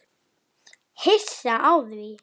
Hissa á því?